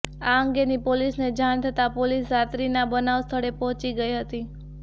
આ અંગેની પોલીસને જાણ થતા પોલીસ રાત્રિના બનાવ સ્થળે પહોંચી ગઈ હતી